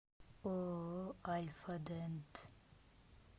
ооо альфадент